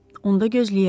Onda gözləyək.